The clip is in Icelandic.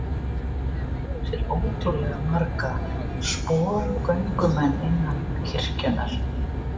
Hann hefur átt sér ótrúlega marga sporgöngumenn innan kirkjunnar.